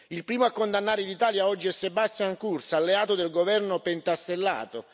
Il primo a condannare l'Italia oggi è Sebastian Kurz, alleato del governo pentastellato.